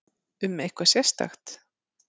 Um eitthvað sérstakt?